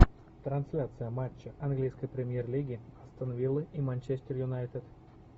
трансляция матча английской премьер лиги астон виллы и манчестер юнайтед